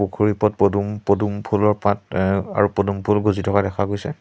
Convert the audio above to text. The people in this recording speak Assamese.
পুখুৰী ওপৰত পদুম পদুম ফুলৰ পাত এ আৰু পদুম ফুল গজি থকা দেখা গৈছে।